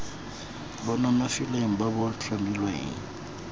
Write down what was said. bo nonofileng bo bo tlhomilweng